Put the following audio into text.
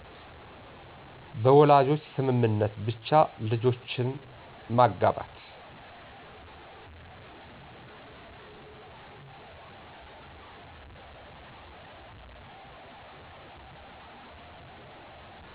በወላጆች ስምምነት ብቻ ልጆችን ማጋባት